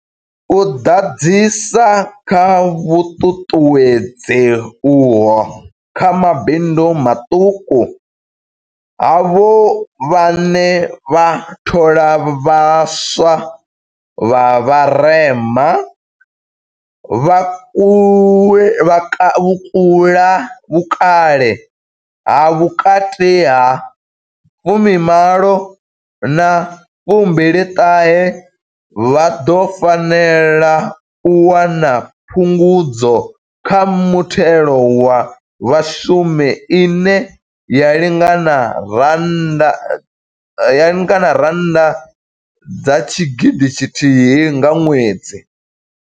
U ḓadzisa kha vhuṱuṱuwedzi uho kha mabindu maṱuku, havho vhane vha thola vha swa vha vharema, vha vhukale ha vhukati ha 18 na 29, vha ḓo fanela u wana phungudzo kha muthelo wa vhashumi ine ya lingana R1 000 nga ṅwedzi.